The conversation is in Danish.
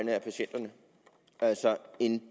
en